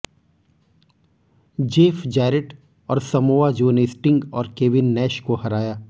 Jeff Jarrett और Samoa Joe ने Sting और केविन नैश को हराया